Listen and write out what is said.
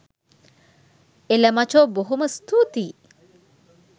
එල මචෝ බොහොම ස්තූතියි